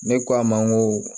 Ne k'a ma n ko